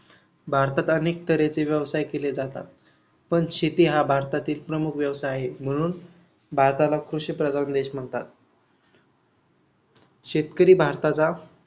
भारतात अनेक तऱ्हेचे व्यवसाय केले जातात. पण शेती हा भारतातील प्रमुख व्यवसाय आहे. म्हणून भारताला कृषीप्रधान देश म्हणतात. शेतकरी भारताचा